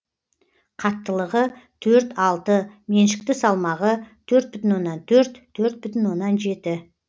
қаттылығы төрт алты меншікті салмағы төрт бүтін оннан төрт төрт бүтін оннан жет